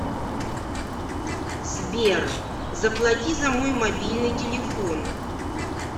сбер заплати за мой мобильный телефон